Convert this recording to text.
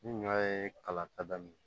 Ni ɲɔ ye kalan ta daminɛ